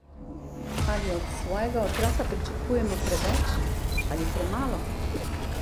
Ali od svojega otroka pričakujemo preveč ali premalo?